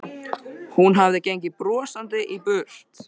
Hún hafði gengið brosandi í burt.